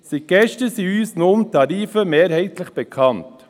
Seit gestern sind uns nun die Tarife mehrheitlich bekannt.